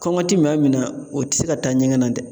Kɔngɔ ti maa min na o ti se ka taa ɲɛgɛn na dɛ.